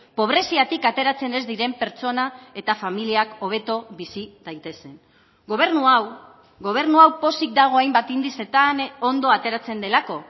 pobreziatik ateratzen ez diren pertsona eta familiak hobeto bizi daitezen gobernu hau gobernu hau pozik dago hainbat indizetan ondo ateratzen delako